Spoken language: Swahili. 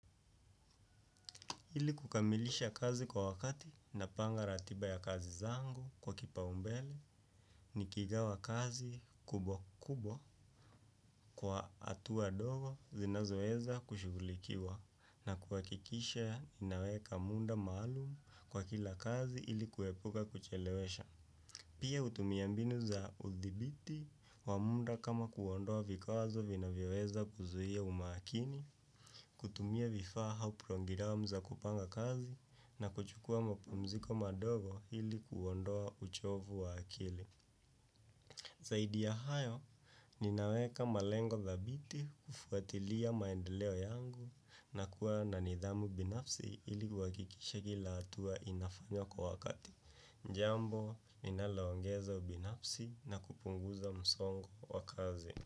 Ili kukamilisha kazi kwa wakati napanga ratiba ya kazi zangu kwa kipaumbele nikigawa kazi kubwa kubwa kwa hatua ndogo zinazoweza kushughulikiwa na kuhakikisha ninaweka muda maalum kwa kila kazi ili kuepuka kuchelewesha. Pia hutumia mbinu za hudhibiti wa muda kama kuondoa vikwazo vinavyoweza kuzuia umakini kutumia vifaa. Zaidi ya hayo, ninaweka malengo dhabiti kufuatilia maendeleo yangu na kuwa na nidhamu binafsi ili kuhakikisha kila hatua inafanywa kwa wakati. Jambo, linaloongeza ubinafsi na kupunguza msongo wa kazi.